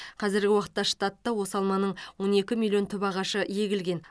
қазіргі уақытта штатта осы алманың он екі миллион түп ағашы егілген